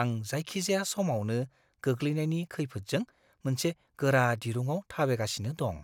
आं जायखिजाया समावनो गोग्लैनायनि खैफोदजों मोनसे गोरा दिरुंआव थाबायगासिनो दं।